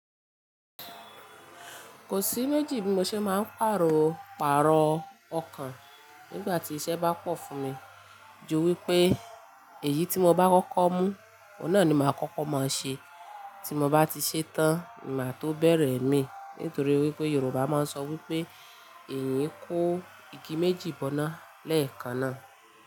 Kò sí méjì bí mo ṣe máa ń pàrò pààrọ̀ ọkàn nígbà tí iṣẹ́ bá pọ̀ fún mi. Ju wí pé èyí tí mo bá kọ́kọ́ mú, òun náà ni màá kọ́kọ́ máa ṣe. Tí mo bá ti ṣetán, ni maa tó bẹ̀rẹ̀ imii. Nítorí wí pé Yorùbá máa ń sọ wí pé eeyan yi kó igi méjì bọ́nà lẹ́ẹ̀kan náà.